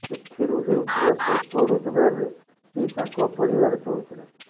ସେଥିରୁ ହେଉଥିବା ସ୍ୱଳ୍ପ ରୋଜଗାରରେ ହିଁ ତାଙ୍କ ପରିବାର ଚଳୁଥିଲା